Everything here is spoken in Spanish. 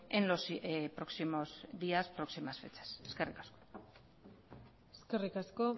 en los próximos días próximas fechas eskerrik asko eskerrik asko